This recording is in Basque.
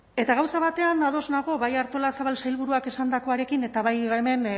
eta gauza batean ados nago bai artolazabal sailburuak esandakoarekin eta bai hemen